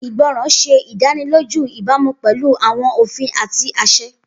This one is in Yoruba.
Igbọran ṣe idaniloju ibamu pẹlu awọn ofin ati aṣẹ.